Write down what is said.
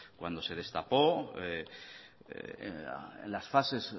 cuando se destapó en las fases